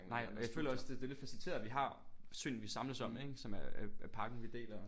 Nej og jeg føler også det det er lidt faciliteret af at vi har søen vi samles om ik som er er parken vi deler